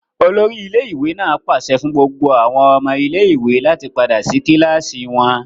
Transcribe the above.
Olori ile-iwe naa paṣẹ fun gbogbo awọn ọmọ ile-iwe lati pada si kilasi wọn!